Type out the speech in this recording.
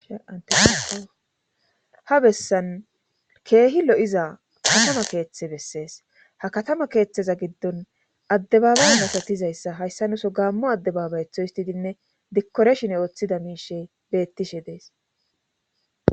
anteha bessan keehi lo7iza katama keeththe bessees ha katama keeththeza giddon addebaaba nasatizayssa hayssa nuso gaammo addebabayetho histidinne dikkoreshin ooththida miishey bettishe dees